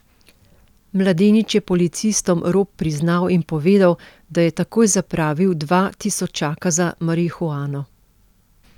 Mladenič je policistom rop priznal in povedal, da je takoj zapravil dva tisočaka za marihuano.